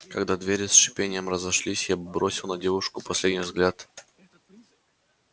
когда двери с шипением разошлись я бросил на девушку последний взгляд